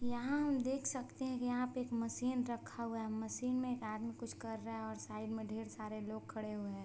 यहाँ हम देख सकते हैं की यहाँ पे एक मशीन रखा हुआ है मशीन में एक आदमी कुछ रहा है और साइड मे ढ़ेर सारे लोग खड़े हैं।